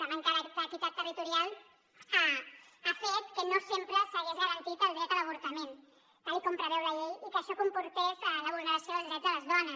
la manca d’equitat territorial ha fet que no sempre s’hagi garantit el dret a l’avor·tament tal com preveu la llei i que això comportés la vulneració dels drets de les dones